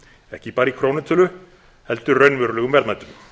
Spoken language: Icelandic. ekki bara í krónutölu heldur raunverulegum verðmætum